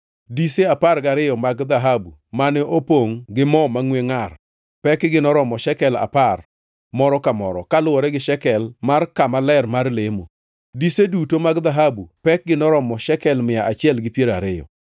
Dise apar gariyo mag dhahabu mane opongʼ gi mo mangʼwe ngʼar pekgi noromo shekel apar moro ka moro, kaluwore gi shekel mar kama ler mar lemo. Dise duto mag dhahabu pekgi noromo shekel mia achiel gi piero ariyo.